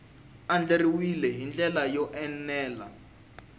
andlariwile hi ndlela yo enela